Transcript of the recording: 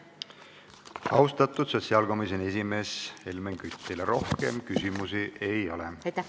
Austatud sotsiaalkomisjoni esimees Helmen Kütt, teile rohkem küsimusi ei ole.